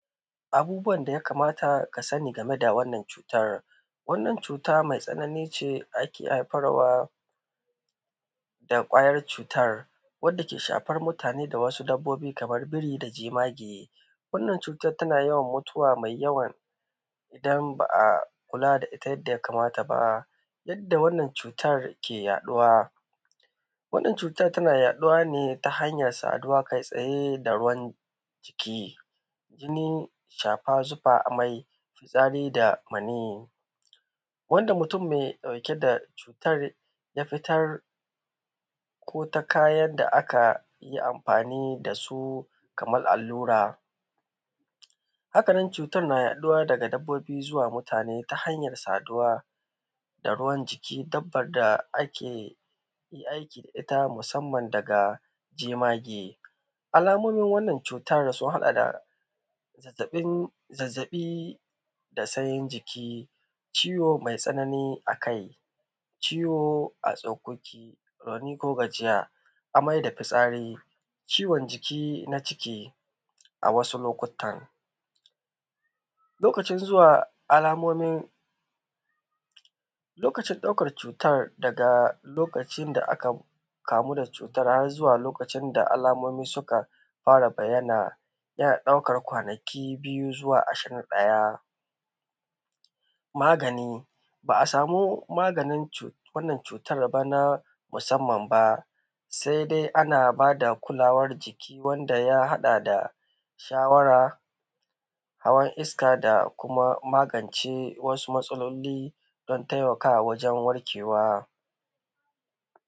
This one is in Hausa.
Abubuwan da ya kamata ka sani game da wannan cutar, wannan cuta me tsanani ne da take haifar da kwayan cutan wadda ke shafan mutane, masu dabbobi kamar biri da jemage wannan cutan tana yawan mutuwa maiyawa, idan ba a kula da ita yanda ya kamata ba ta yadda wannan cutan ke yaɗuwa wannan cutan tana yaɗuwa ne ta hanyan saduwa kaitsaye da wani jiki, jini safa jufa a mai kuzari da maniyi wanda mutun me ɗauke da cutan ya fitar ko ya ka yarda aka yi anfani da su kaman allura. Haka nan cutan na yaɗuwa daga dabbobi zuwa mutane ta hanyar saduwa da ruwan jiki, tabbas da ake aiki da ita musanman daga jemage, alamomin wannan cutan sun haɗa da zazzaɓi da sanyin jiki, ciwo me tsanani. Akwai ciwo a tsokoki, rauni ko gajiya, amai da fitsari, ciwon jiki na ciki a wasu lokuttan, lokacin ɗaukan cutan da lokacin da aka kamu da cutan har zuwa lokacin da alamomi suka fara bayyana yana ɗaukan kwanaki biyu zuwa mako ɗaya, magani ba a sama maganin wannan cutan ba, na musamman ba sai dai ana ba da kulawar jiki wanda ya haɗa da shawara, hawan iska da kuma magance wasu matsalolin don taimakawa wajen warkewa.